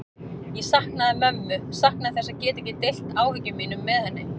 Ég saknaði mömmu, saknaði þess að geta ekki deilt áhyggjum mínum með henni.